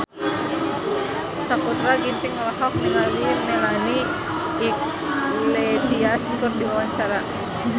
Sakutra Ginting olohok ningali Melanie Iglesias keur diwawancara